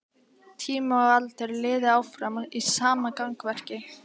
Tími og aldur líði áfram í sama gangverki.